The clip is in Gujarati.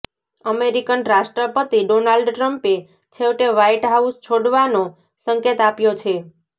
અમેરિકન રાષ્ટ્રપતિ ડોનાલ્ડ ટ્રમ્પએ છેવટે વ્હાઇટ હાઉસ છોડવાનો સંકેત આપ્યો છે